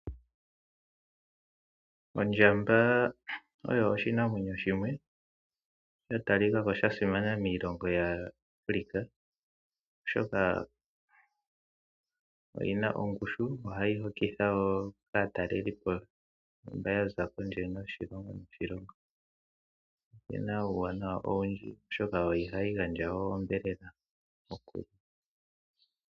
Ondjamba oyo oshinamwenyo shimwe shatalikako shasimana miilongo mbika, oshoka oyina ongushu, ohayi hokitha wo aatalelipo mbaya za kondje yiilongo niilongo . Oyina uuwanawa owundji oshoka ohayi gandja onyama.